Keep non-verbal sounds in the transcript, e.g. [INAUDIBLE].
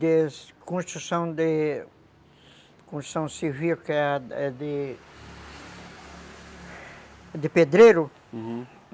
[UNINTELLIGIBLE] construção de, construção civil, que é de de pedreiro, uhum.